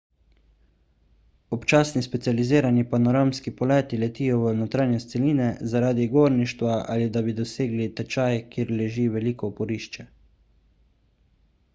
občasni specializirani panoramski poleti letijo v notranjost celine zaradi gorništva ali da bi dosegli tečaj kjer leži veliko oporišče